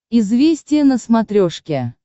известия на смотрешке